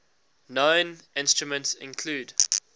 known instruments include